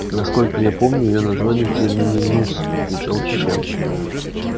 насколько я помню её название терминус отвечал чен